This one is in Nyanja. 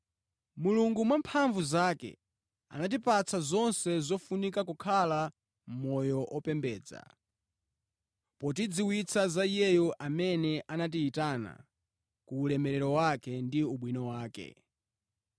Mulungu mwa mphamvu zake anatipatsa zonse zofunika kukhala moyo opembedza, potidziwitsa za Iyeyo amene anatiyitana ku ulemerero wake ndi ubwino wake.